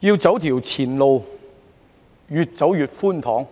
要走的前路可說是越走越寬敞。